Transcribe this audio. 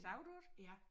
Så du det?